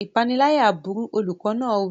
Ìpániláyà burú! Olùkọ́ náà wí.